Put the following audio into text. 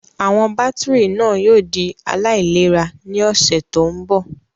Àwọn bátìrì náà yóò di aláìlera ní ọ̀sẹ̀ tó ń bọ̀.